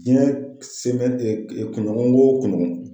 Jinɛ sen mɛ kunɲɔgɔn o kunɲɔgɔn.